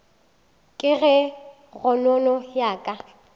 ka ge kgonono ya ka